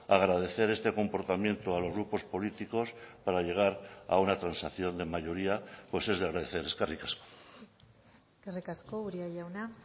agradecer este comportamiento a los grupos políticos para llegar a una transacción de mayoría pues es de agradecer eskerrik asko eskerrik asko uria jauna